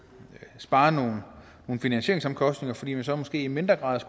sparer nogle finansieringsomkostninger fordi man så måske i mindre grad